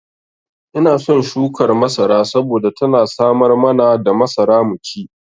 Ina son shukar masara saboda tana samar mana da masara mu ci.